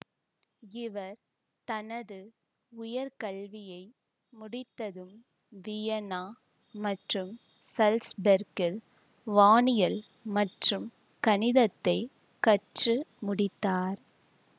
இவர் தனது உயர்கல்வியை முடித்ததும் வியன்னா மற்றும் சல்ஸ்பெர்கில் வானியல் மற்றும் கணிதத்தைக் கற்று முடித்தார்